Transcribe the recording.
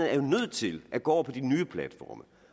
er nødt til at gå over på de nye platforme